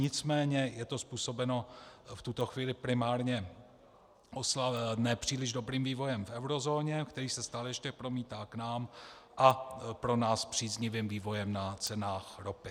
Nicméně je to způsobeno v tuto chvíli primárně nepříliš dobrým vývojem v eurozóně, který se stále ještě promítá k nám, a pro nás příznivým vývojem na cenách ropy.